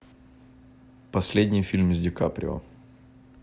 последний фильм с ди каприо